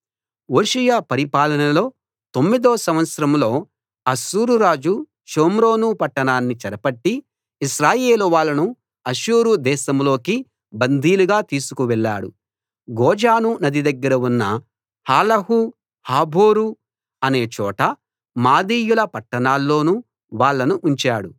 హోషేయ పరిపాలనలో తొమ్మిదో సంవత్సరంలో అష్షూరు రాజు షోమ్రోను పట్టణాన్ని చెరపట్టి ఇశ్రాయేలు వాళ్ళను అష్షూరు దేశంలోకి బందీలుగా తీసుకువెళ్ళాడు గోజాను నది దగ్గర ఉన్న హాలహు హాబోరు అనే చోటా మాదీయుల పట్టణాల్లోనూ వాళ్ళను ఉంచాడు